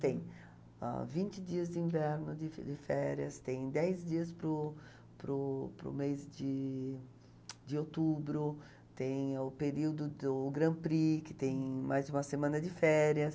Tem ãh vinte dias de inverno, de de férias, tem dez dias para o para o mês de de outubro, tem o período do o Grand Prix, que tem mais uma semana de férias.